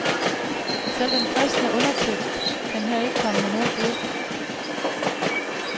Selv den kristne undertekst kan her ikke komme med noget bud.